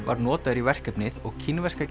var notaður í verkefnið og kínverska